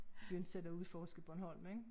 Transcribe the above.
Begyndte selv at udforske Bornholm ik